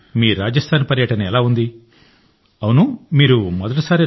మీ రాజస్థాన్ పర్యటన ఎలా ఉంది మీరు మొదటిసారి